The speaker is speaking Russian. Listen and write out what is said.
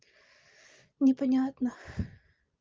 непонятно